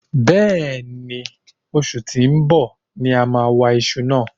bẹ́ẹ̀ ni, osù tí ó ń bọ̀ ni a máa wa iṣu náà.